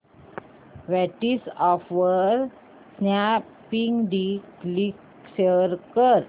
WhatsApp वर Snapdeal link share कर